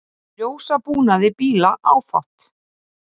Ljósabúnaði bíla áfátt